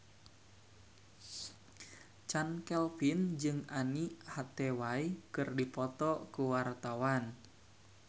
Chand Kelvin jeung Anne Hathaway keur dipoto ku wartawan